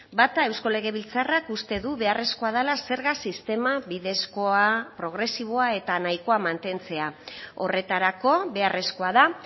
bata eusko legebiltzarrak uste du beharrezkoa dela zerga sistema bidezkoa progresiboa eta nahikoa mantentzea horretarako beharrezkoa da